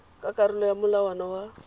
ka karolo ya molawana wa